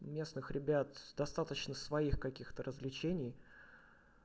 у местных ребят достаточно своих каких-то развлечений